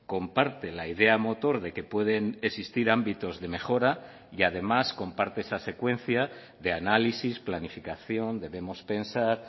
comparte la idea motor de que pueden existir ámbitos de mejora y además comparte esa secuencia de análisis planificación debemos pensar